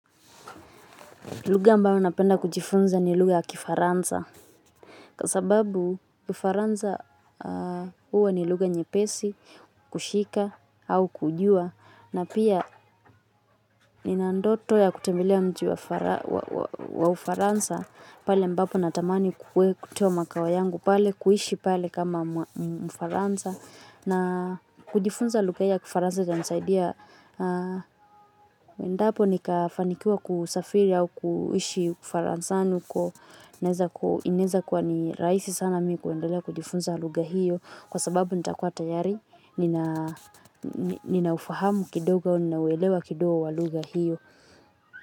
Lugha ambayo napenda kujifunza ni lugha ya Kifaransa. Kwa sababu, Kifaransa huwa ni lugha nyepesi kuhika au kujua. Na pia nina ndoto ya kutembelea mji wa Ufaransa pale ambapo natamani, kuteamakao yangu pale, kuishi pale kama Mfaransa. Na kujifunza lugha ya Kifaransa itanisaidia wendaapo nikafanikiwa kusafiri au kuishi Ufaransani nuko. Inaeza kwa ni rahisi sana mi kuendelea kujifunza lugha hiyo kwa sababu nitakuwa tayari nina ninaufahamu kidogo au nina uelewa kidogo wa lugha hiyo.